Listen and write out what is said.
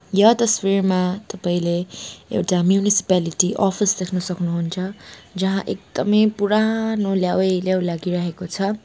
यो तस्वीरमा तपाईँले एउटा म्युनिसिपालिटी अफिस देख्नु सक्नुहुन्छ जहाँ एकदमै पुरानो लेउै लेउ लागिरहेको छ।